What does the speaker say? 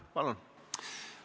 Palun!